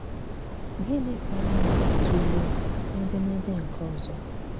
Gịnị̀ ka anyị̀ ga-̀tụ̀leè n’édémédé nke òzọ̀?